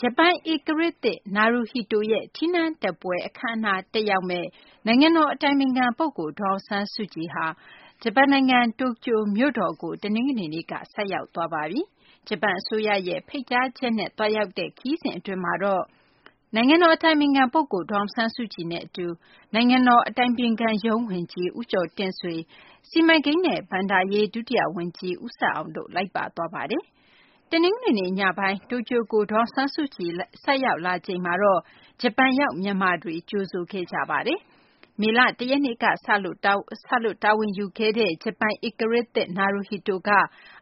ဂျပန်ဧကရာဇ် နာရူဟီတို ရဲ့ ထီးနန်းတက်ပွဲ အခမ်းအနား တက်ရောက်မယ့် နိုင်ငံတော် အတိုင်ပင်ခံပုဂ္ဂိုလ် ဒေါ်အောင်ဆန်းစုကြည်ဟာ ဂျပန်နိုင်ငံ တိုကျိုမြို့တော်ကို တနင်္ဂနွေနေ့က ဆိုက်ရောက်သွားပါပြီ။ ဂျပန်အစိုးရရဲ့ ဖိတ်ကြားချက်အရ သွားရောက်တဲ့ ဂျပန်ခရီးစဉ်အတွင်းမှာတော့ နိုင်ငံတော် အတိုင်ပင်ခံပုဂ္ဂိုလ် ဒေါ်အောင်ဆန်းစုကြည်နဲ့အတူ နိုင်ငံတော် အတိုင်ပင်ခံရုံး ဝန်ကြီး ဦးကျော်တင့်ဆွေ၊ စီမံကိန်းနဲ့ ဘဏ္ဍာရေး ဒုတိယဝန်ကြီး ဦးဆက်အောင်တို့ လိုက်ပါသွားပါတယ်။ တနင်္ဂနွေနေ့ ညပိုင်းက တိုကျိုကို ဒေါ်အောင်ဆန်းစုကြည် ဆိုက်ရောက်လာချိန်မှာတော့ ဂျပန်ရောက် မြန်မာတွေ ကြိုဆိုခဲ့ကြပါတယ်။ မေလ ၁ ရက်နေ့ကစလို့ တာဝန်ယူခဲ့တဲ့ ဂျပန်ဧကရာဇ်သစ် နာရူဟီတိုက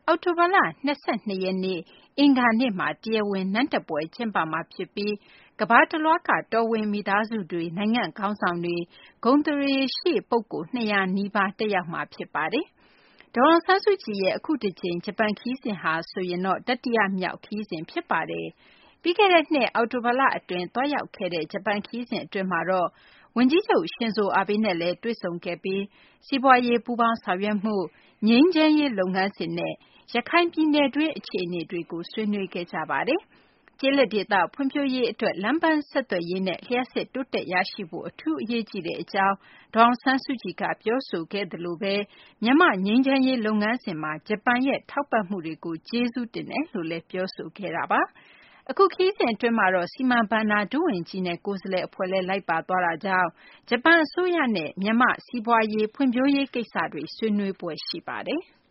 အောက်တိုဘာလ ၂၂ ရက်နေ့ အင်္ဂါနေ့မှာ တရားဝင်နန်းတက်ပွဲ ကျင်းပမှာဖြစ်ပြီး ကမ္ဘာတလွှားက တော်ဝင်မိသားစုတွေ၊ နိုင်ငံခေါင်းဆောင်တွေ၊ ဂုဏ်သရေရှိပုဂ္ဂိုလ် ၂၀၀ နီးပါး တက်ရောက်ကြမှာ ဖြစ်ပါတယ်။ ဒေါ်အောင်ဆန်းစုကြည်ရဲ့ အခုတကြိမ် ခရီးစဉ်ဟာဆိုရင် တတိယမြောက် ဂျပန်နိုင်ငံ ခရီးစဉ် ဖြစ်ပါတယ်။ ပြီးခဲ့တဲ့နှစ် အောက်တိုလအတွင်း သွားရောက်ခဲ့တဲ့ ဂျပန်ခရီးစဉ် အတွင်းမှာတော့ ဂျပန်ဝန်ကြီးချုပ် Shinzo Abe နဲ့လည်း တွေ့ဆုံခဲ့ပြီး စီးပွားရေး ပူးပေါင်းဆောင်ရွက်မှု၊ ငြိမ်းချမ်းရေးလုပ်ငန်းစဉ်နဲ့ ရခိုင်ပြည်နယ်တွင်း အခြေအနေတွေကို ဆွေးနွေးခဲ့ကြပါတယ်။ ကျေးလက်ဒေသ ဖွံ့ဖြိုးရေးအတွက် လမ်းပန်းဆက်သွယ်ရေးနဲ့ လျှပ်စစ်တိုးတက်ရရှိဖို့ အထူးအရေးကြီးကြောင်း ဒေါ်အောင်ဆန်းစုကြည်က ပြောဆိုခဲ့သလို မြန်မာ့ငြိမ်းချမ်းရေး လုပ်ငန်းစဉ်မှာ ဂျပန်ရဲ့ ထောက်ပံ့မှုတွေကို ကျေးဇူးတင်ရှိကြောင်းလည်း ပြောဆိုခဲ့တာပါ။ အခုခရီးစဉ်အတွင်းမှာတော့ စီမံဘဏ္ဍာ ဒုဝန်ကြီးနဲ့ ကိုယ်စားလှယ်အဖွဲ့လည်း လိုက်ပါသွားတာကြောင့် ဂျပန်အစိုးရနဲ့ မြန်မာ့ဖွံ့ဖြိုးရေး ကိစ္စတွေ ဆွေးနွေးဖွယ် ရှိပါတယ်။